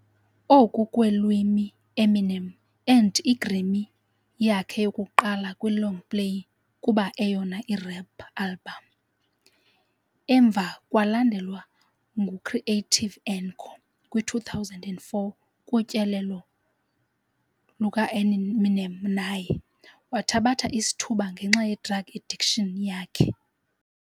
Oku kweelimi Eminem earned i-Grammy yakhe yokuqala kwi-longplay kuba eyona i-rap album. Emva kwalandelwa ngu-creative Encore kwi-2004 kutyelelo lukaEminem naye. Wathabatha isithuba ngenxa ye-drug addiction yakhe.